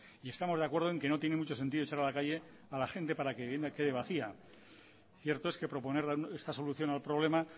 y estamos de acuerdo en que no tiene mucho sentido echar a la calle a la gente para que la vivienda quede vacía cierto es que proponer esta solución al problema